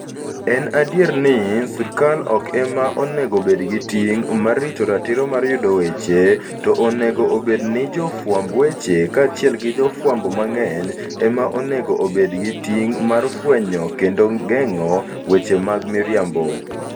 En adier ni, sirkal ok ema onego obed gi ting ' mar rito ratiro mar yudo weche, to onego obed ni jofwamb weche kaachiel gi jofwambo mang'eny, ema onego obed gi ting ' mar fwenyo kendo geng'o weche mag miriambo.